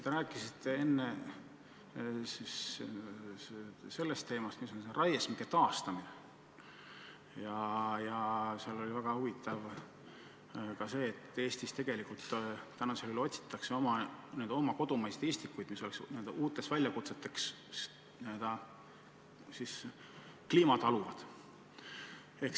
Te rääkisite enne raiesmike taastamisest ja selle teema puhul oli väga huvitav see, et Eestis tegelikult tänini veel otsitakse oma kodumaiseid istikuid, mis oleksid valmis n-ö uuteks väljakutseteks, oleksid n-ö kliimat taluvad.